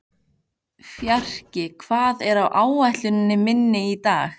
Fjarki, hvað er á áætluninni minni í dag?